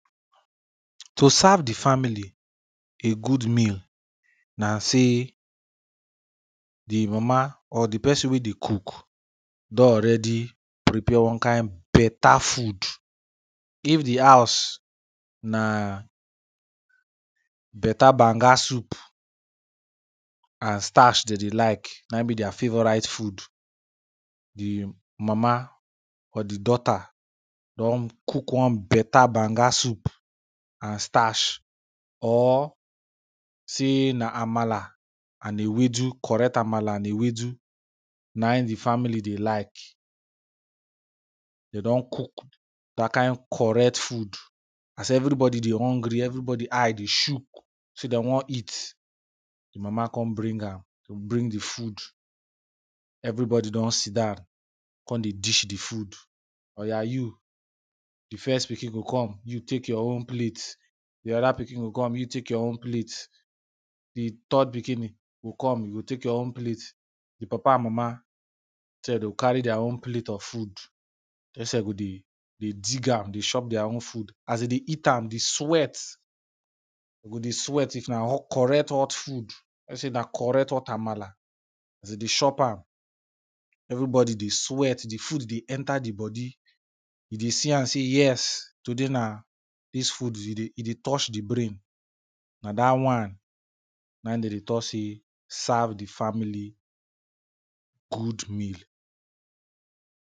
To serve di family a good meal na say, di mama or di person wey dey cook don already prepare one kind better food, if di house na better banga soup and starch de dey like, na im be dia favourite food, di mama or di daughter don cook one better banga soup and starch or say na amala and ewedu, correct amala and ewedu na im di family dey like, de don cook dat kind correct food, as everybody dey hungry, everybody eye dey shook say de wan eat, di mama con bring am, she bring di food, everybody don sit down, con dey dish di food. Oya you, di first pikin go come, you take your own plate, di other pikin go come, you take your own plate, di third pikini go come, you go take your own plate, di papa and mama sef de o carry dia own plate of food, dem sef go dey, dey dig am dey chop dia own food, as de dey eat am, di sweat, go dey sweat if na correct hot food, moh say na correct hot amala, as dey dey chop am, everybody dey sweat, di food dey enter di body, you dey see am o sey, yes! Today na, dis food e dey, e dey touch di brain, na dat one na im dem dey tok say serve di family, good meal.